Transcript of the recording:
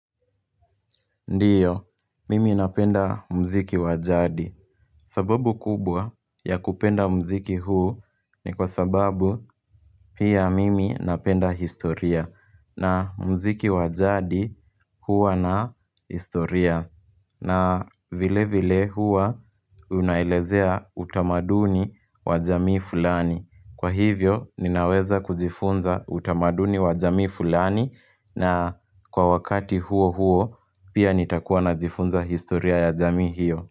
Ndiyo, mimi napenda mziki wajadi sababu kubwa ya kupenda muziki huu ni kwa sababu pia mimi napenda historia na muziki wa jadi huwa na historia na vile vile huwa unaelezea utamaduni wa jamii fulani. Kwa hivyo ninaweza kujifunza utamaduni wa jamii fulani na kwa wakati huo huo, pia nitakuwa najifunza historia ya jamii hiyo.